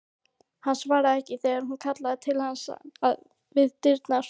Hann svarar ekki þegar hún kallar til hans við dyrnar.